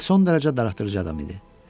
Bes son dərəcə darıxdırıcı adam idi.